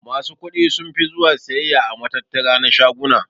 Masu kuɗi sunfi zuwa siyayya a matattara na shaguna.